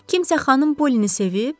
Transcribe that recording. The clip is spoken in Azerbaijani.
Kimsə xanım Pollini sevib?